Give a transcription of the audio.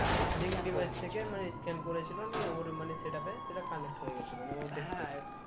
মানে scan করেছিল নিয়ে ওর মানে setup এ সেটা connect হয়ে গিয়েছিল নিয়ে ও দেখতো